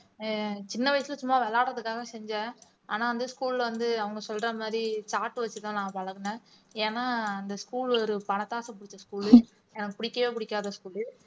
அஹ் சின்ன வயசுல சும்மா விளையாடுறதுக்காக செஞ்சேன் ஆனா வந்து school ல வந்து அவங்க சொல்ற மாதிரி chart வச்சுதான் நான் பழகுனேன் ஏன்னா இந்த school ஒரு பணத்தாசை பிடிச்ச school உ எனக்கு பிடிக்கவே பிடிக்காத school உ